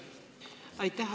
Aitäh!